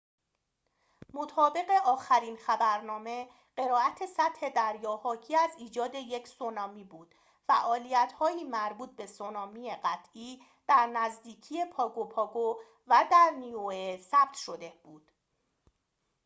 مطابق آخرین خبرنامه قرائت سطح دریا حاکی از ایجاد یک سونامی بود فعالیت هایی مربوط به سونامی قطعی در نزدیکی پاگو پاگو و نیوئه ثبت شده بود